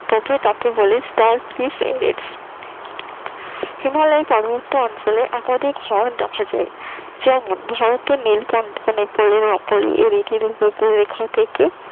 তো তাকে বলে তা স্টার ফ্রিজ এরেট হিমালয়ের পার্বত্য অঞ্চলে একাধিক হর্ন দেখা যায় যেমন ভারতের নীল প্রার্থনে